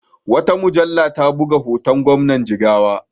Wata mujalla ta buga hoton Gwamnan Jigawa.